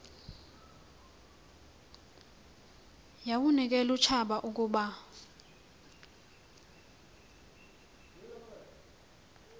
yawunikel utshaba ukuba